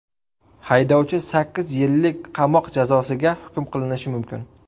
Haydovchi sakkiz yillik qamoq jazosiga hukm qilinishi mumkin.